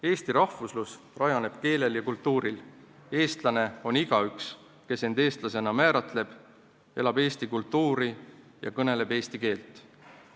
Eesti rahvuslus rajaneb keelel ja kultuuril, eestlane on igaüks, kes end eestlasena määratleb, elab eesti kultuuris ja kõneleb eesti keelt.